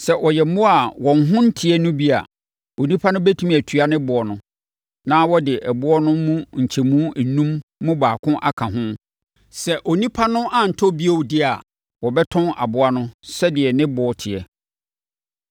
Sɛ ɔyɛ mmoa a wɔn ho nteɛ no bi a, onipa no bɛtumi atua ne boɔ no, na ɔde ɛboɔ no mu nkyɛmu enum mu baako aka ho. Sɛ onipa no antɔ bio deɛ a, wɔbɛtɔn aboa no sɛdeɛ ne boɔ teɛ.